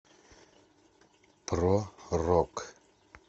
про рок